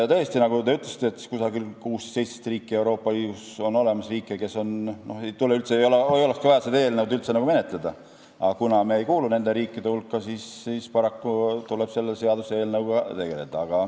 Tõesti, nagu te ütlesite, 16–17 riiki Euroopa Liidus on sellised, kus ei olekski vaja seda eelnõu üldse menetleda, aga kuna meie ei kuulu nende riikide hulka, siis paraku tuleb selle seaduseelnõuga tegeleda.